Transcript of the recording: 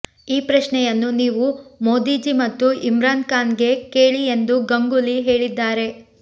ಈ ಪ್ರಶ್ನೆಯನ್ನು ನೀವು ಮೋದಿಜಿ ಮತ್ತು ಇಮ್ರಾನ್ ಖಾನ್ ಗೆ ಕೇಳಿ ಎಂದು ಗಂಗೂಲಿ ಹೇಳಿದ್ದಾರೆ